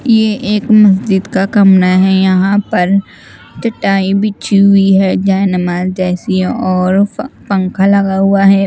यह एक मस्जिद का कमरा है यहाँ पर चटाई बिछी हुई हैं जय हनुमान जय सिया और पंखा लगा हुआ हैं।